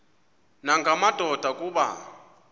nanga madoda kuba